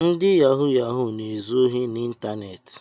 Ndị yahụ yahụ na-ezu ohi n’iteneti